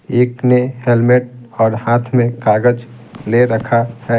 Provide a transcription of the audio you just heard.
एक ने हेलमेट और हाथ में कागज ले रखा है।